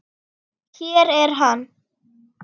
Hér er hann.